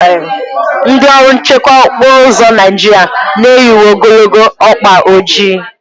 Ndị ọrụ nchekwa okporo ụzọ Naijiria na-eyi uwe ogologo ọkpa ojii.